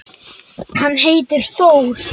Hann heitir Þór.